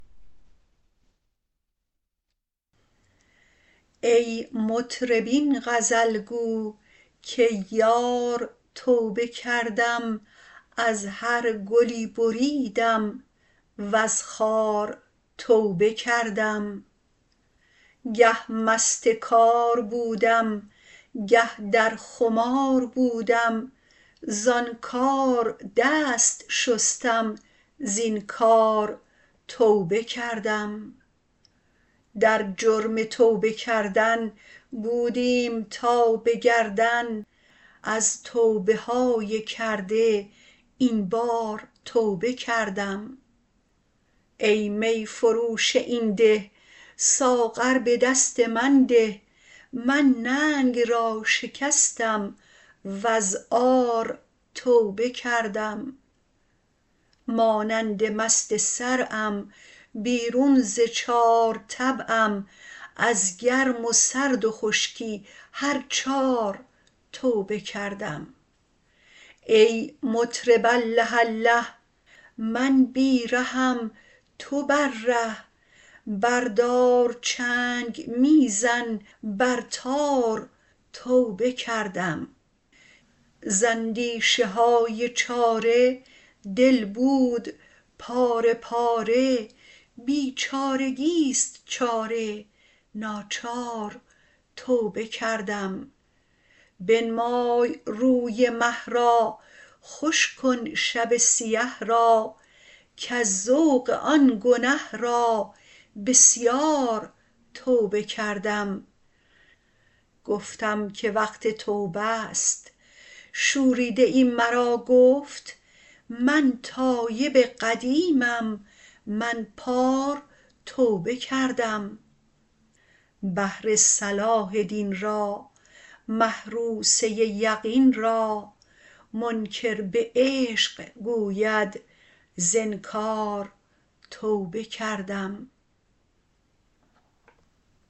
ای مطرب این غزل گو کی یار توبه کردم از هر گلی بریدم وز خار توبه کردم گه مست کار بودم گه در خمار بودم زان کار دست شستم زین کار توبه کردم در جرم توبه کردن بودیم تا به گردن از توبه های کرده این بار توبه کردم ای می فروش این ده ساغر به دست من ده من ننگ را شکستم وز عار توبه کردم مانند مست صرعم بیرون ز چار طبعم از گرم و سرد و خشکی هر چار توبه کردم ای مطرب الله الله می بی رهم تو بر ره بردار چنگ می زن بر تار توبه کردم ز اندیشه های چاره دل بود پاره پاره بیچارگی است چاره ناچار توبه کردم بنمای روی مه را خوش کن شب سیه را کز ذوق آن گنه را بسیار توبه کردم گفتم که وقت توبه ست شوریده ای مرا گفت من تایب قدیمم من پار توبه کردم بهر صلاح دین را محروسه یقین را منکر به عشق گوید ز انکار توبه کردم